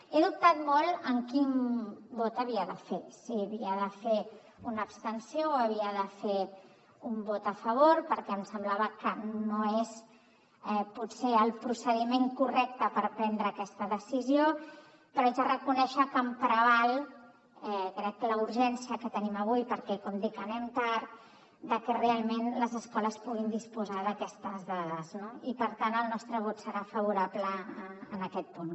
he dubtat molt en quin vot havia de fer si havia de fer una abstenció o si havia de fer un vot a favor perquè em semblava que no és potser el procediment correcte per prendre aquesta decisió però haig de reconèixer que em preval crec la urgència que tenim avui perquè com dic anem tard de que realment les escoles puguin disposar d’aquestes dades no i per tant el nostre vot serà favorable en aquest punt